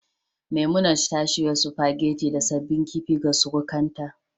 Memunant ta shirya spaghetti da sabbin kifi ga surukanta